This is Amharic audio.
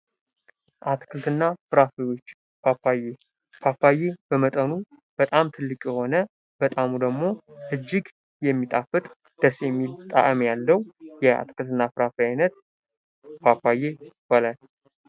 አትክልትና ፍራፍሬዎች ፓፓዬ! ፓፓየ በመጠኑ በጣም ትልቅ የሆነ በጣዕሙ ደግሞ እጅግ የሚጣፍጥ ደስ የሚል ጣዕም ያለዉ የአትክልትና ፍራፍሬ አይነት ፓፓዬ ይባላል።